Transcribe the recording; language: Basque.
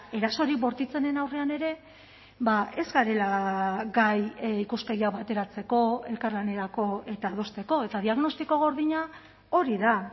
erasorik bortitzenen aurrean ere ez garela gai ikuspegia bateratzeko elkarlanerako eta adosteko eta diagnostiko gordina hori da